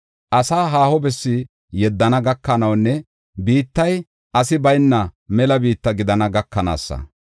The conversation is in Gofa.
asaa haaho bessi yeddana gakanawunne biittay asi bayna mela biitta gidana gakanaasa.